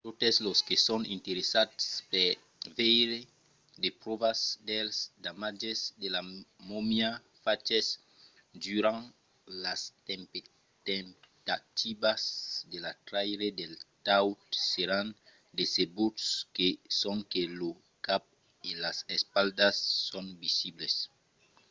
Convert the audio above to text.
totes los que son interessats per veire de pròvas dels damatges de la momia faches durant las temptativas de la traire del taüt seràn decebuts que sonque lo cap e las espatlas son visibles